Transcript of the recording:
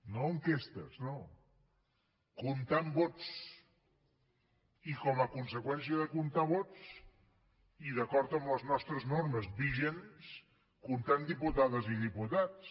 no enquestes no comptant vots i com a conseqüència de comptar vots i d’acord amb les nostres normes vigents comptant diputades i diputats